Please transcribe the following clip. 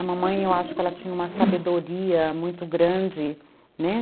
A mamãe, eu acho que ela tinha uma sabedoria muito grande, né?